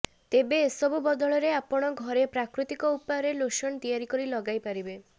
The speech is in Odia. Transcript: ତେବେ ଏସବୁ ବଦଳରେ ଆପଣ ଘରେ ପ୍ରାକୃତିକ ଉପାୟରେ ଲୋସନ ତିଆରି କରି ଲଗାଇପାରିବେ